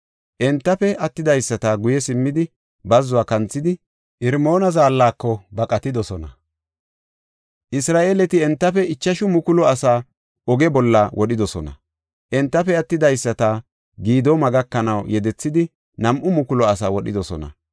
Entafe attidaysati guye simmidi, bazzuwa kanthidi, Irmoona zaallako baqatidosona. Isra7eeleti entafe ichashu mukulu asaa oge bolla wodhidosona. Entafe attidaysata Gidooma gakanaw yedethidi nam7u mukulu asaa wodhidosona.